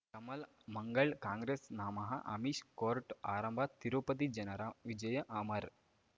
ಕಮಲ್ ಮಂಗಳ್ ಕಾಂಗ್ರೆಸ್ ನಮಃ ಅಮಿಷ್ ಕೋರ್ಟ್ ಆರಂಭ ತಿರುಪತಿ ಜನರ ವಿಜಯ ಅಮರ್